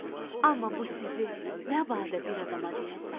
Amma bu sirri nə badə bir adama deyəsən.